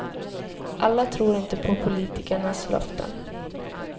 Alla tror inte på politikernas löften.